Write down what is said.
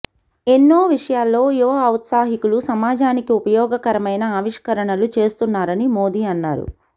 ఎన్నో విషయాల్లో యువ ఔత్సాహికులు సమాజానికి ఉపయోగకరమైన ఆవిష్కరణలు చేస్తున్నారని మోదీ అన్నారు